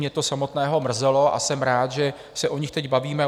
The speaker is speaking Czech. Mě to samotného mrzelo a jsem rád, že se o nich teď bavíme.